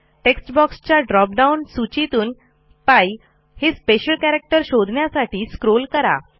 text बॉक्सच्या drop down सूचीतून π हे स्पेशल कॅरॅक्टर शोधण्यासाठी स्क्रोल करा